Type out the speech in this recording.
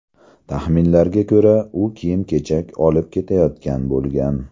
Taxminlarga ko‘ra, u kiyim-kechak olib ketayotgan bo‘lgan.